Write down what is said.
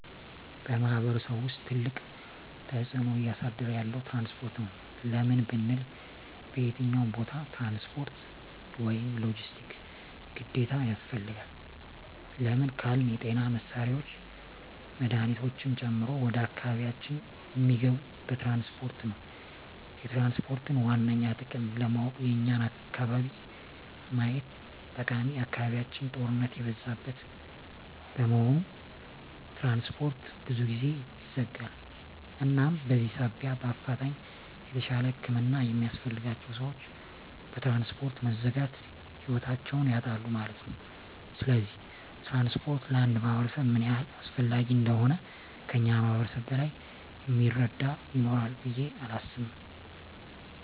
በማሕበረሰቡ ውስጥ ትልቅ ተፅዕኖ እያሳደረ ያለዉ ትራንስፖርት ነዉ። ለምን ብንል በየትኛዉም ቦታ ትራንስፖርት(ሎጀስቲክስ) ግዴታ ያስፈልጋል። ለምን ካልን የጤና መሳሪያወች መድሀኒቶችን ጨምሮ ወደ አካባቢያችን እሚገቡት በትራንስፖርት ነዉ። የትራንስፖርትን ዋነኛ ጥቅም ለማወቅ የኛን አካባቢ ማየት ጠቃሚ አካባቢያችን ጦርነት የበዛበት በመሆኑ ትራንስፖርት ብዙ ጊዜ ይዘጋል እናም በዚህ ሳቢያ በአፋጣኝ የተሻለ ህክምና የሚያስፈልጋቸዉ ሰወች በትራንስፖርት መዘጋት ህይወታቸዉን ያጣሉ ማለት ነዉ። ስለዚህ ትራንስፖርት ለአንድ ማህበረሰብ ምን ያህል አስፈላጊ እንደሆነ ከእኛ ማህበረሰብ በላይ እሚረዳ ይኖራል ብየ አላምንም።